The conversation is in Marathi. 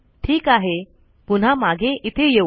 ठीक आहे पुन्हा मागे इथे येऊ